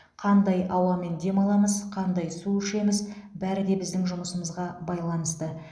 қандай ауамен демаламыз қандай су ішеміз бәрі де біздің жұмысымызға байланысты